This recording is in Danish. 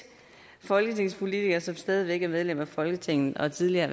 folketingspolitikere som stadig væk er medlemmer af folketinget og tidligere